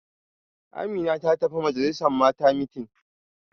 Amina ta tafi majalisa Mata meeting